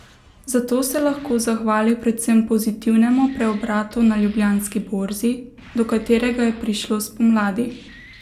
Za to se lahko zahvali predvsem pozitivnemu preobratu na Ljubljanski borzi, do katerega je prišlo spomladi.